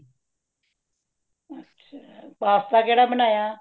ਅੱਛਾ , pasta ਕੇੜਾ ਬਣਾਇਆ